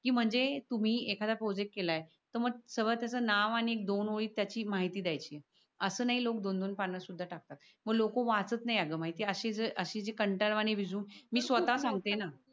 कि म्हणजे तुम्ही एखादा प्रोजेक्ट केलाय तर मग त्याच नाव आणि दोन ओळी त्याची माहिती द्याची अस नाय लोक दोन दोन पान सुध टाकतात. मग लोक वाचत नाय माहिती ये का? अशी अशी जी कांटाळ वाणी